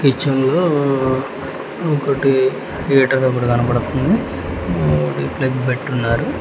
Kitchen లో ఒకటి gate అనేది కనబడుతుంది అది ప్లగ్ పెట్టున్నారు.